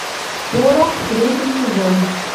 порох третий сезон